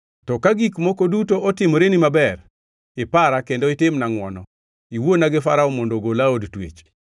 To ka gik moko duto otimoreni maber, ipara kendo itimna ngʼwono; iwuona gi Farao mondo ogola e od twech.